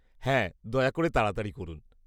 হ্যাঁ, দয়া করে তাড়াতাড়ি করুন।